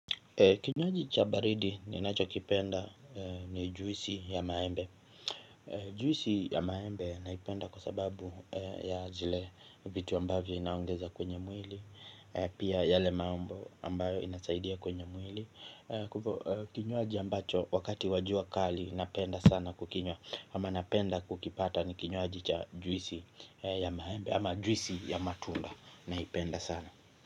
Kinywaji cha baridi ninacho kipenda ni juisi ya maembe. Juisi ya maembe naipenda kwa sababu ya zile vitu ambavyo inaongeza kwenye mwili. Pia yale mambo ambayo inasaidia kwenye mwili. Kinywaji ambacho wakati wajua kali napenda sana kukinywa. Ama napenda kukipata ni kinywaji cha juisi ya maembe. Ama juisi ya matunda naipenda sana.